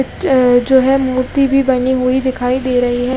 अ जो है मूर्ति भी बानी हुयी दिखाई दे रही है।